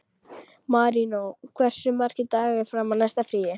Maríon, hversu margir dagar fram að næsta fríi?